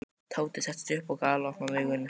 Tóti settist upp og galopnaði augun.